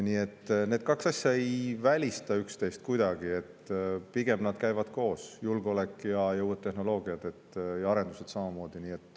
Nii et need kaks asja ei välista üksteist kuidagi, pigem nad käivad koos: julgeolek, uued tehnoloogiad ja arendused samamoodi.